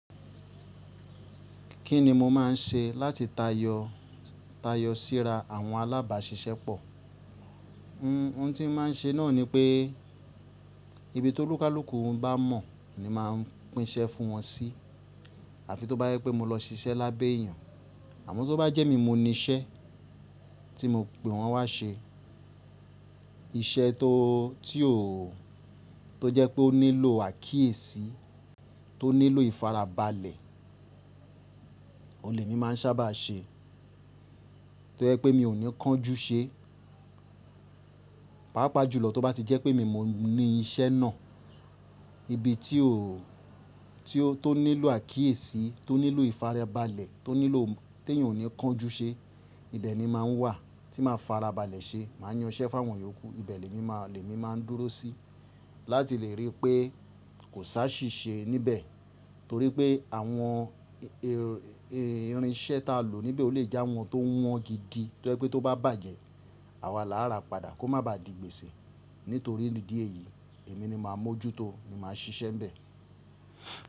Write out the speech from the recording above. Kí ni mo máa ń ṣe láti tayọ síra àwọn alábàáṣiṣẹ́ pọ̀? Ohun tí n máa ń ṣe náà ni pé ibi ti ólúkálúkù bá mọ̀ ni màá ń pín iṣẹ́ fún wọn sí. Àfi tó bá jẹ pé mo lọ siṣẹ́ lábẹ́ èèyàn. Àmọ́ tó bá jẹ́ emi n mo ní iṣẹ́ tí mo pe wọn wá ṣe, iṣẹ́ tó tio to jẹ́ pé ó nílò àkíyèsí, tó nílò ìfarabalẹ̀, ohun lè mi máa ń sábà ṣe. Tó jẹ́ pé mi ò ní kánjú ṣe. Páápàá jùlọ tó bá ti jẹ́ pé èmi n mo ní iṣẹ́ náà, ibi tí ó tio tó nílò àkíyèsí, tó nílò ìfarabalẹ̀, tó nílò tí èèyàn ò ní kánjú ṣe, ibẹ̀ ni máa ń wà tí màá farabalẹ̀ ṣe. Màá yan iṣẹ́ fáwọn yòókù. Ibẹ̀ lèmi máa lemi maa ń dúró sí láti lè rí pé kò ṣaàṣìṣe níbẹ̀ torí pé àwọn irinṣẹ́ ta lò níbẹ̀ o lè je awọn tó wọ́n gidi tó jẹ́ pé tó bá bàjẹ́, àwa làárà padà kó má ba di gbèsè. Nítorí idí èyí èmi ni màá mójú tó ni màá ṣiṣẹ́ n bẹ̀